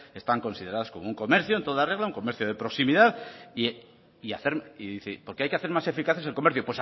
están consideradas como un comercio en toda regla un comercio de proximidad y dice porque hay que hacer más eficaces el comercio